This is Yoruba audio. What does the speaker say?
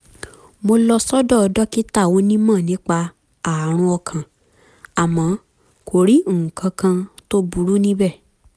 mo lọ sọ́dọ̀ dókítà onímọ̀ nípa ààrùn ọkàn àmọ́ kò rí nǹkan kan tó burú níbẹ̀